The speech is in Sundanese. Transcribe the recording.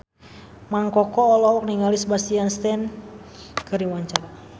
Mang Koko olohok ningali Sebastian Stan keur diwawancara